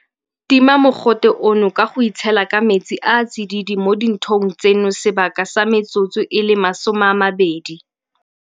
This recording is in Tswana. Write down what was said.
Tima mogote ono ka go itshela ka metsi a a tsididi mo dinthong tseno sebaka sa metsotso e le 20.